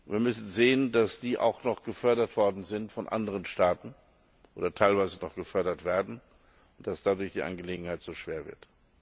Wir müssen sehen, dass die auch noch gefördert worden sind von anderen Staaten oder teilweise immer noch gefördert werden und dass dadurch die Angelegenheit so schwer wird.